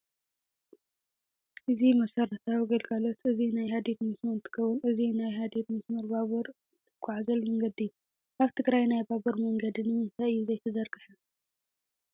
እዚ መሰረታዊ ግልጋሎት እዚ ናይ ሃዲድ መስመርእነትከው እዚናይ ሃዲድ መስመር ባቡር እትጉዓዘሉ መንገዲ እዩ። ኣብ ትግራይ ናይ ባቡር መንገዲ ንምታይ እዩ ዘይተዘርገሐ ?